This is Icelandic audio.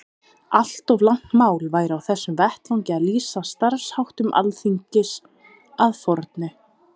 Allt of langt mál væri á þessum vettvangi að lýsa starfsháttum Alþingis að fornu.